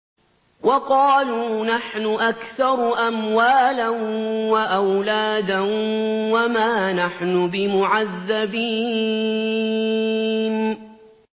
وَقَالُوا نَحْنُ أَكْثَرُ أَمْوَالًا وَأَوْلَادًا وَمَا نَحْنُ بِمُعَذَّبِينَ